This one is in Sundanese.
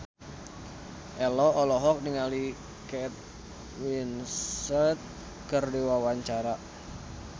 Ello olohok ningali Kate Winslet keur diwawancara